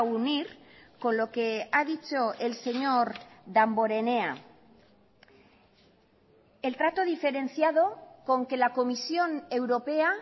unir con lo que ha dicho el señor damborenea el trato diferenciado con que la comisión europea